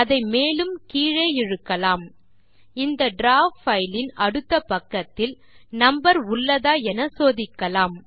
அதை மேலும் கீழே இழுக்கலாம் இந்த டிராவ் பைல் இன் அடுத்த பக்கத்தில் நம்பர் உள்ளதா என சோதிக்கலாம்